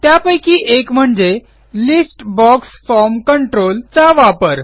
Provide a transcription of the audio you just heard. त्यापैकी एक म्हणजे लिस्ट बॉक्स फॉर्म कंट्रोल चा वापर